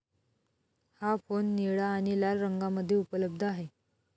हा फोन निळा आणि लाल रंगामध्ये उपलब्ध आहे.